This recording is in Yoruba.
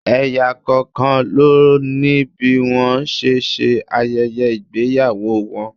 Ẹ̀yà kọ̀ọ̀kan ló ní bí wọ́n ṣe ń ṣe ayẹyẹ ìgbéyàwó wọn.